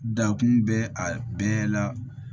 Dakun bɛ a bɛɛ la